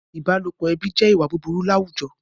Ìbálòpọ̀ ẹbí jẹ́ ìwà búburú àwùjọ